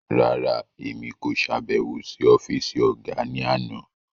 Rárá, Èmi ko ṣabẹwo si ọfisi ọga ni àna